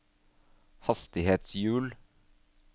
hastighetshjul